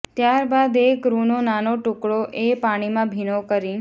ત્યારબાદ એક રૂનો નાનો ટુકડો એ પાણીમાં ભીનો કરી